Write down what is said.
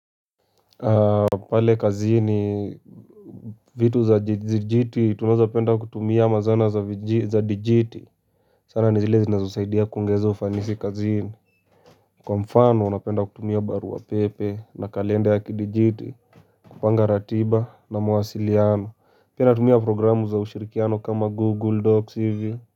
Pale kazini vitu za dijiti tunazopenda kutumia ama zana za dijiti sana ni zile zinazosaidia kuongezo ufanisi kazini kwa mfano unapenda kutumia baru pepe na kalenda ya kidijiti kupanga ratiba na mawasiliano pia tumia programu za ushirikiano kama google docs hivi.